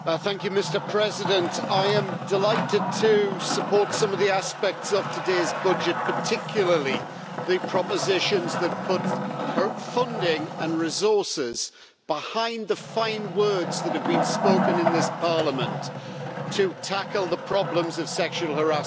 Mr President, I am delighted to support some of the aspects of today's budget, particularly the propositions that put funding and resources behind the fine words that have been spoken in this Parliament to tackle the problems of sexual harassment.